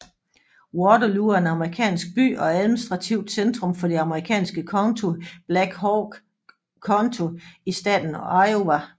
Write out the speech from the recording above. Waterloo er en amerikansk by og administrativt centrum for det amerikanske county Black Hawk County i staten Iowa